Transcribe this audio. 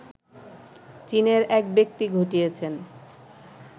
চীনের একব্যক্তি ঘটিয়েছেন